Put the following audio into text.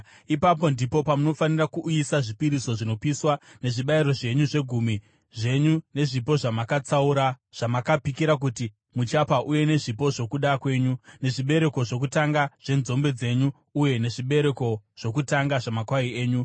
ipapo ndipo panofanira kuuyiswa zvipiriso zvinopiswa nezvibayiro zvenyu, zvegumi zvenyu nezvipo zvamakatsaura, zvamakapikira kuti muchapa uye nezvipo zvokuda kwenyu, nezvibereko zvokutanga zvenzombe dzenyu uye nezvibereko zvokutanga zvamakwai enyu.